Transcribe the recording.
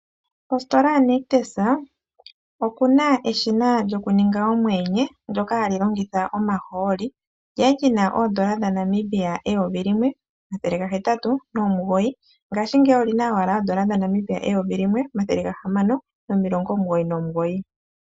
Kositola ya Nictus okuna lyo kuninga omweenye, lyoka hali longitha omahooli, lyali lina N$ 1089 ngaashi ngeyi olina owala N$1699.